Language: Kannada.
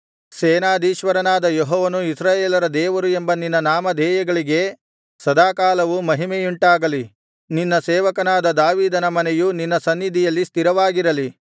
ಸೇನಾಧೀಶ್ವರನಾದ ಯೆಹೋವನು ಇಸ್ರಾಯೇಲರ ದೇವರು ಎಂಬ ನಿನ್ನ ನಾಮಧೇಯಗಳಿಗೆ ಸದಾಕಾಲವೂ ಮಹಿಮೆಯುಂಟಾಗಲಿ ನಿನ್ನ ಸೇವಕನಾದ ದಾವೀದನ ಮನೆಯು ನಿನ್ನ ಸನ್ನಿಧಿಯಲ್ಲಿ ಸ್ಥಿರವಾಗಿರಲಿ